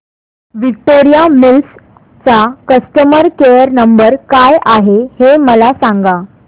Victoria Mills चा customer care number काय आहे हे मला सांगा